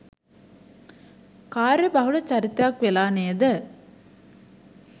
කාර්යබහුල චරිතයක් වෙලා නේද?